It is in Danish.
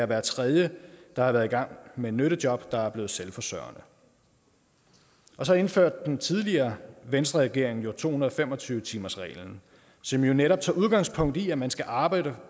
hver tredje der har været i gang med et nyttejob der er blevet selvforsørgende så indførte den tidligere venstreregering jo to hundrede og fem og tyve timersreglen som netop tager udgangspunkt i at man skal arbejde